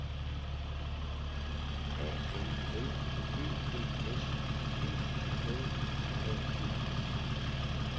A N L Ø B S P L A D S